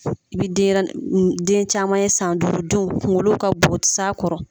I bi denyɛrɛ den caman ye san duuru denw kunkolo ka bon, u ti s'a kɔrɔ